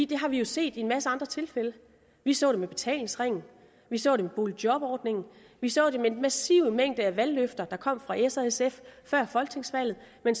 det har vi set i en masse andre tilfælde vi så det med betalingsringen vi så det med boligjobordningen vi så det med den massive mængde af valgløfter der kom fra s og sf før folketingsvalget men